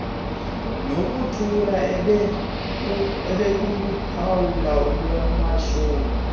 nokuthula obekuluphawu lwamashumi